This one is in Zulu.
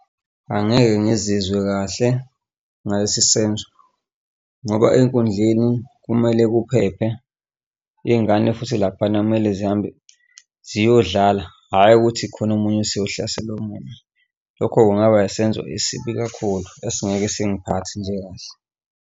Angeke ngizizwe kahle ngalesi senzo ngoba enkundleni kumele kuphephe iy'ngane futhi laphana kumele zihambe ziyodlala, hhayi ukuthi kukhona omunye oseyohlasela omunye. Lokho kungaba yisenzo esibi kakhulu esingeke singiphathe nje kahle.